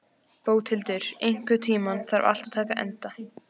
Bóthildur, einhvern tímann þarf allt að taka enda.